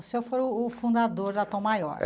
O senhor foi o o fundador da Tom Maior.